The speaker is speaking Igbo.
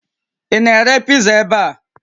Ị na-ere piza ebe a?